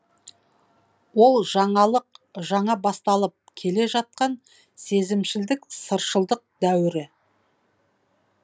ол жаңалық жаңа басталып келе жатқан сезімшілдік сыршылдық дәуірі